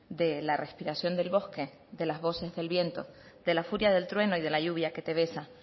de la respiración del bosque de las voces del viento de la furia del trueno y de la lluvia que te besa